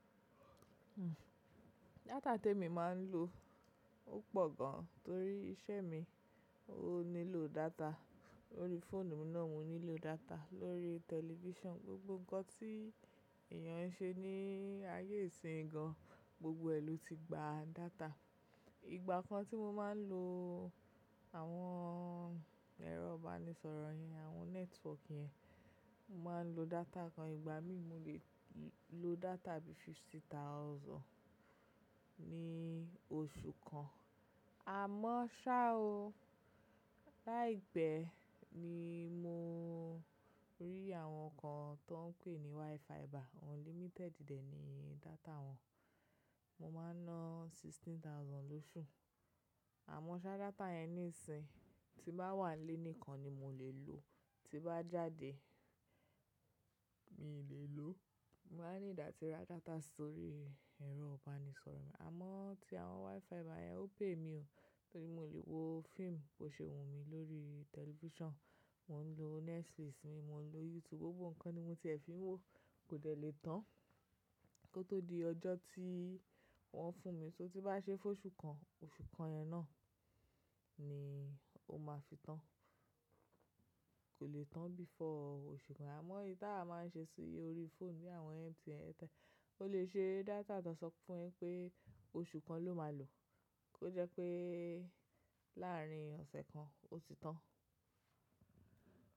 Data tèmi máa ń lò ó pọ̀ gan torí iṣẹ́ mi ó nílò data. Lórí fóònù mi náà mo nílò data, lórí television, gbogbo ǹkan tí èyàn ń ṣe ní ayé ìsìn gan, gbogbo ẹ̀ ló ti gba data. Ìgbà kan tí mo máa ń lo àwọn ẹ̀rọ ìbánisọ̀rọ̀ yẹn, àwọn network yẹn, mo máa ń lo data kan. Ìgbà mímì mo lè lo data bíi fifty thousand ní oṣù kan. Àmọ́ ṣá o, láìpẹ́ ni mo rí àwọn kan tó ń pè ní WiFi ba, unlimited dẹ̀ ni data wọn. Mo máa ń ná sixteen thousand lóṣù. Àmọ́ ṣá data yẹn níìsín, tí bá wà lénìkan ni mo lè lò o, tí bá jáde mi lè lò o. Mo máa ń ní ìdátìrá data sórí ẹ̀rọ ìbánisọ̀rọ̀ mi. Àmọ́ tí àwọn WiFi báyẹn ò pay mi o. Torí mo lè wo fíìmù bó ṣe wù mí lórí television. Mo ń lo Netflix mi, mo ń lo YouTube, gbogbo ǹkan ni mo tiẹ̀ fi ń wò kò dẹ̀ lè tán kí ó tó di ọjọ́ tí wọ́n fún mi. Só tí bá ṣe fún oṣù kan, oṣù kan yẹn náà ni ó máa fi tán. Kò lè tán before oṣù kan. Àmọ́ ìyitawa máa ń ṣe sí orí fóònù ní àwọn MTN airtel. Ó lè ṣe data tán sọ fún ẹ pé oṣù kan ló máa lò o, ó jẹ́ pé láàárín ọ̀sẹ̀ kan ó ti tán.